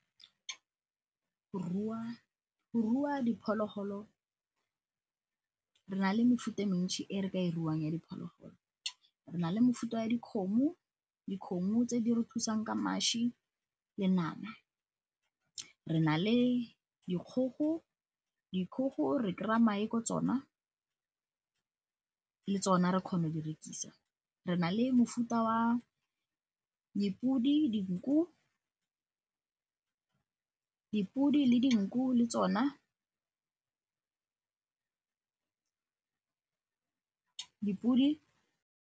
Go rua diphologolo, re na le mefuta e mentsi e re ka e ruang ya diphologolo. Re na le mefuta ya dikgomo, dikgomo tse di re thusang ka mašwi le nama. Re na le dikgogo, dikgogo re kry-a mae ko tsona, le tsona re kgona go di rekisa. Re na le mofuta wa dipodi le dinku le tsona.